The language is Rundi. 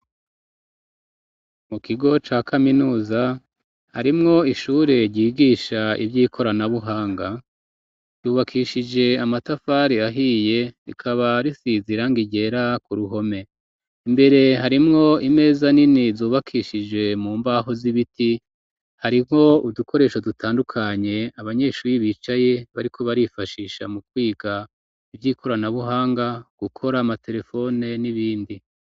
Mu kigo ca kaminuza harimwo ishure ryigisha ivyo ikoranabuhanga ryubakishije amatafari ahiye rikaba risizira ngirera ku ruhome imbere harimwo imeza nini zubakishije mu mbaho z'ibiti hariho uw resho dutandukanye abanyeshuri bicaye bariko barifashisha mu kwiga ivyo ikoranabuhanga gukora amaterefone n'ibindi.